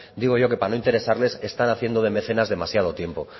digo yo que para no interesarles están haciendo de mecenas demasiado tiempo